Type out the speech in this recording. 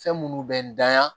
Fɛn minnu bɛ n da